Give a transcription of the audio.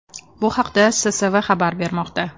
Bu haqda SSV xabar bermoqda .